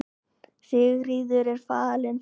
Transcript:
Sigríður er fallin frá.